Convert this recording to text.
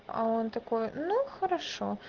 а он такой ну хорошо